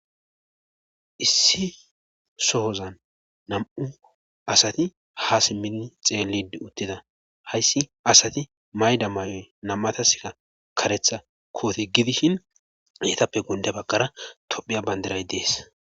issi sohozan nam7u asati ha simmidi xeellidi uttida hayssi asati mayida mayoy nam7atasika kareta koote gidishin eetape gundde baggara tophiya banddiray de7ees.